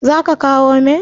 zaka kawo min?